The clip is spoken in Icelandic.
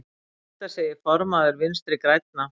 Þetta segir formaður Vinstri grænna.